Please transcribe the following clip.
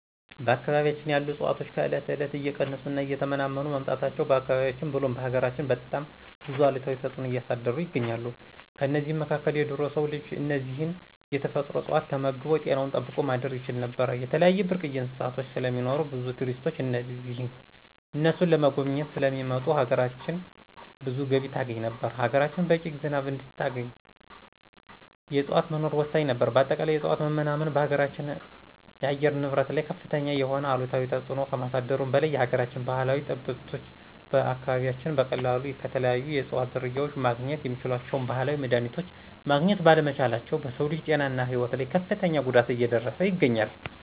በአካባቢያችን ያሉ እፅዋቶች ከእለት እለት እየቀነሱ እና እየተመናመኑ መምጣታቸው በአካባቢያችን ብሎም በሀገራችን በጣም ብዙ አሉታዊ ተጽዕኖ እያሳደሩ ይገኛሉ። ከእነዚህም መካከል ድሮ የሰው ልጅ እነዚህን የተፈጥሮ እጽዋቶች ተመግቦ ጤናውን ጠብቆ ማደር ይችል ነበር፣ የተለያዩ ብርቅዬ እንስሳቶች ስለሚኖሩ ብዙ ቱሪስቶች እነሱን ለመጎብኘት ስለሚመጡ ሀገራችን ብዙ ገቢ ታገኝ ነበር፣ ሀገራችን በቂ ዝናብ እንድታገኝ የእጽዋት መኖር ወሳኝ ነበር በአጠቃላይ የእጽዋቶች መመናመን በሀገራችን አየር ንብረት ላይ ከፍተኛ የሆነ አሉታዊ ተጽዕኖ ከማሳደሩ በላይ የሀገራችን ባህላዊ ጠበብቶች በአካባቢያችን በቀላሉ ከተለያዩ የእጽዋት ዝርያዎች ማግኘት የሚችሏቸውን ባህላዊ መድሀኒቶች ማግኘት ባለመቻላቸው በሰው ልጅ ጤናና ህይወት ላይ ከፍተኛ ጉዳት እየደረሰ ይገኛል።